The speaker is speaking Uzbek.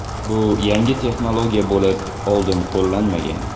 Bu yangi texnologiya bo‘lib, oldin qo‘llanmagan.